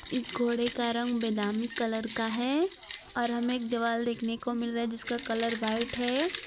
इस घोड़े का रंग बेदामी कलर का है और हमें एक दीवाल देखने को मिल रहा है जिसका कलर व्हाइट है।